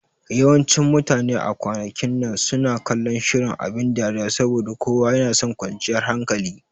Yawancin mutane a kwanakin nan suna kallon shirin abin dariya saboda kowa yanason kwanciyar hankali